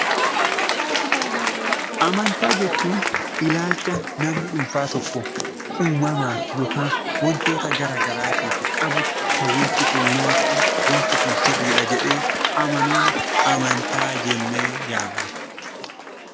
Amantaa jechuun ilaalcha namni dhuunfaa tokko uumamaaf yookaan wantoota gara garaatiif qabu, kan wanti kun naa ta'a, waanti kun sirriidha jedhee amanuuni amantaa jennee yaamna.